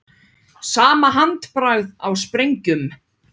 Sama handbragð á sprengjum